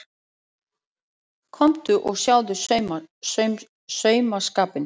Komdu og sjáðu saumaskapinn.